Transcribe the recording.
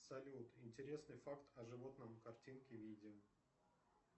салют интересный факт о животном картинки видео